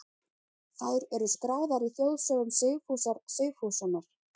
Þær eru skráðar í þjóðsögum Sigfúsar Sigfússonar.